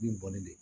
Min bɔlen don